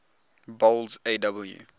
boles aw